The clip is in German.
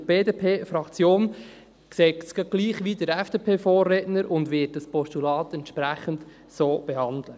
Die BDP-Fraktion sieht es gerade gleich wie der FDP-Vorredner und wird das Postulat entsprechend so behandeln.